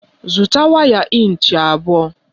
Zụta waya ịnchị abụọ!